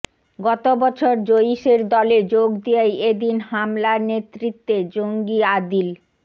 গতবছর জইশের দলে যোগ দিয়েই এদিন হামলার নেতৃত্বে জঙ্গি আদিল